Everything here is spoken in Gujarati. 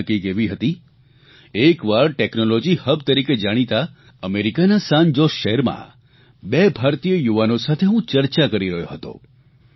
ઘટના કંઇક એવી હતી એકવાર ટેકનોલોજી હબ તરીકે જાણીતા અમેરિકાના સાન જોસ શહેરમાં બે ભારતીય યુવાનો સાથે હું ચર્ચા કરી રહ્યો હતો